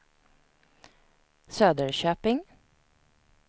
Söderköping